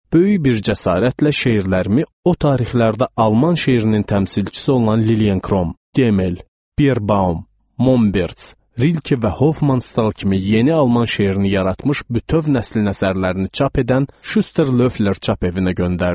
Böyük bir cəsarətlə şeirlərimi o tarixlərdə alman şeirinin təmsilçisi olan Lilyen Krom, Demel, Bierbaum, Momberts, Rilke və Hofman Stal kimi yeni alman şeirini yaratmış bütöv nəslin əsərlərini çap edən Şüster Löfler çap evinə göndərdim.